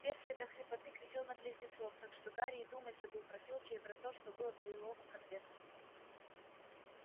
перси до хрипоты кричал на близнецов так что гарри и думать забыл про филча и про то что было в лиловом конверте